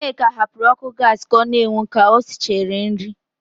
Nneka hapụrụ ọ́kụ́ gaasị ka ọ na-enwu ka o sichara nri.